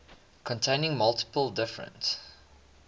containing multiple different